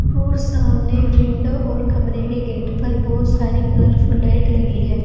और सामने विंडो और कमरे के गेट पर बहुत सारे कलरफुल लाइट लगी है।